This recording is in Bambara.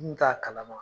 N kun t'a kalama